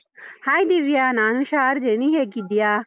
Hi Divya, ನಾನ್ ಹುಷಾರಿದ್ದೇನೆ, ನೀನ್ ಹೇಗಿದ್ಯಾ?